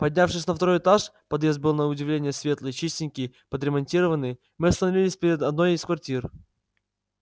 поднявшись на второй этаж подъезд был на удивление светлый чистенький подремонтированный мы остановились перед одной из квартир